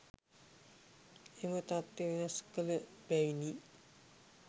එම තත්වය වෙනස් කළ බැවිනි.